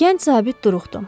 Gənc zabit duruxdu.